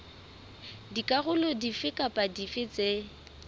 dikarolo dife kapa dife tse